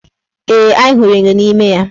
Ee, anyị hụrụ enyo n' ime ya.